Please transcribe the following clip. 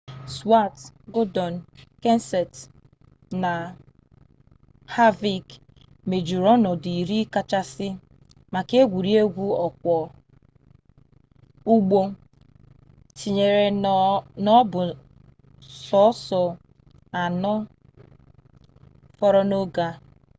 stewart gordon kenseth na harvick mejuru onodu iri kachasi maka egwuregwu okwo ugbo tinyere na o bu so oso ano foro n'oge a